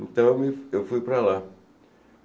Então, eu fui para lá.